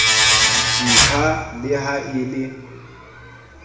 ntlha le ha e le